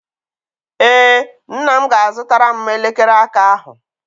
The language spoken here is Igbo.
Ee, nna m ga-azụtara m elekere aka ahụ.